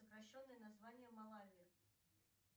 сокращенное название малавии